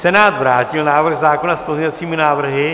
Senát vrátil návrh zákona s pozměňovacími návrhy.